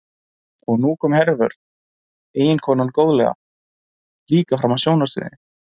Og nú kom Hervör, eiginkonan góðlega, líka fram á sjónarsviðið.